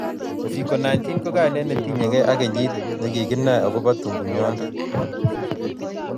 uviko 19 ko kaine ne tinyegei ak kenyit ne kikinae akobo tunguyonde